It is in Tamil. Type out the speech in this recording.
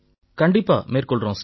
கண்டிப்பா மேற்கொள்றோம் சார்